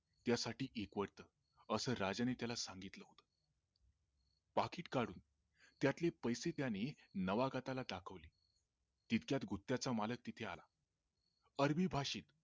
या साठी एकवटतं अस राजांनी त्याला सांगितलं पाकिट काढून त्यातले पैसे त्याने नावागतला दाखविले तितक्यात गुत्याचा मालक तिथे आला अरबी भाषेत